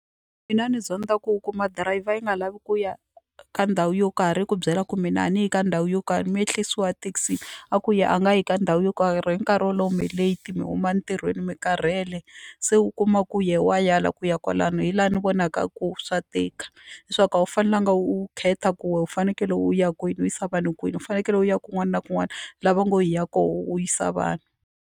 Mina ni zonda ku u kuma dirayivha yi nga lavi ku ya ka ndhawu yo karhi ku byela ku mina a ni hi ka ndhawu yo karhi mi ehlisiwa ethekisini a ku ya a nga yi ka ndhawu yo karhi hi nkarhi wolowo mi leti mi huma entirhweni mi karhele se u kuma ku ye wa ala ku ya kwalani hi laha ni vonaka ku swa tika leswaku a wu fanelanga u khetha ku we u fanekele u ya kwini u yisa vanhu kwini u fanekele u ya kun'wana na kun'wana lava ngo hi ya koho u yisa vanhu.